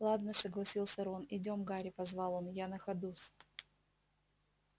ладно согласился рон идём гарри позвал он я на ходу с